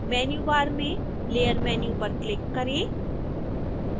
menu bar में layer menu पर click करें